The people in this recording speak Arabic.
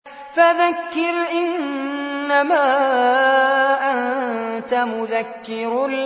فَذَكِّرْ إِنَّمَا أَنتَ مُذَكِّرٌ